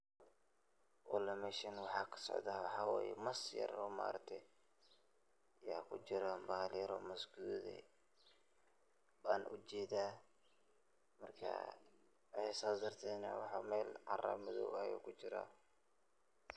Walee meshan waxaa ka socda waxa waye mas yar ayaa ku jiraa, bahal oo mas gaduud eh ban ujedaa saas darteed meel caro Maddow eh ayuu ku jiraa.